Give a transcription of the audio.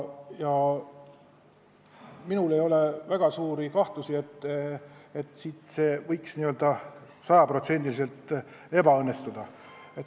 Minul ei ole väga suuri kahtlusi, et see võiks sada protsenti ebaõnnestuda.